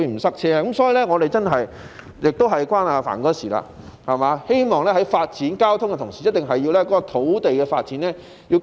所以，這也與"帆哥"有關，我希望在發展交通的同時，土地的發展也一定要跟上。